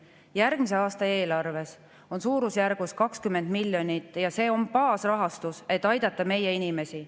Järgmise aasta eelarves on suurusjärgus 20 miljonit ja see on baasrahastus, et aidata meie inimesi.